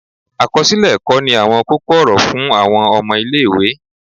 akọsilẹ ẹkọ ní awọn koko-ọrọ fun awọn ọmọ ile-iwe